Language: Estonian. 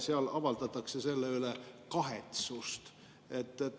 Seal avaldatakse selle üle kahetsust.